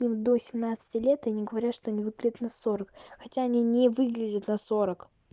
им до семнадцати лет они говорят что они выглядят на сорок хотя они не выглядят на сорок